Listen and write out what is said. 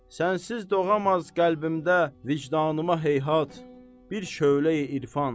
Sənsiz doğamaz qəlbimdə vicdanıma heyhat bir şölə-i irfan.